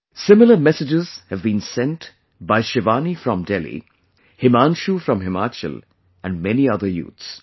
Similar messages have been sent by Shivani from Delhi, Himanshu from Himachal and many other youths